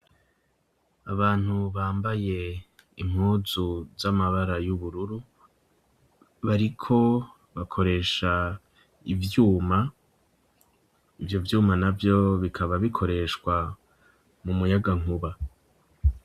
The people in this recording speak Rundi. Abantu bambaye impuzu z'amabara y'ubururu bariko bakoresha ibyuma, ibyo byuma na byo bikaba bikoreshwa mu muyaga nkuba.